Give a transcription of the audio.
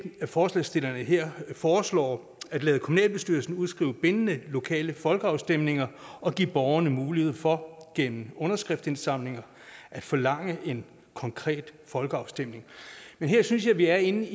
forslagsstillerne her foreslår at lade kommunalbestyrelsen udskrive bindende lokale folkeafstemninger og give borgerne mulighed for gennem underskriftindsamlinger at forlange en konkret folkeafstemning her synes jeg vi er inde